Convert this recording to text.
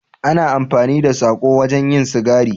Ana amfani da sako wajen yin sigari